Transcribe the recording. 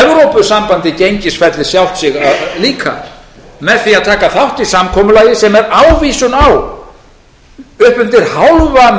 evrópusambandið gengisfellir sjálft sig líka með því að taka þátt í samkomulagi sem er ávísun á upp undir hálfa